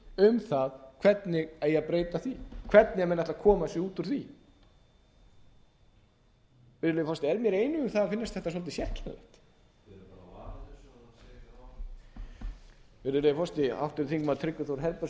um það hvernig eigi að breyta því hvernig menn ætli að koma sér út úr því virðulegi forseti a ég einn um það að finnast þetta svolítið sérkennilegt virðulegi forseti háttvirtur þingmaður tryggvi þór herbertsson kallar að þeir séu